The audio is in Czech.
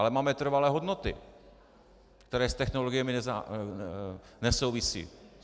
Ale máme trvalé hodnoty, které s technologiemi nesouvisí.